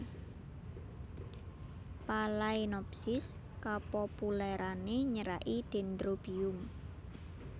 Phalaenopsis kapopulèrané nyeraki Dendrobium